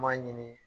M'a ɲini